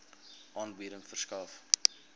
aanbieding verskaf